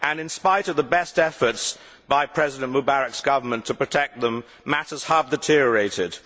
In spite of the best efforts by President Mubarak's government to protect them, matters have deteriorated.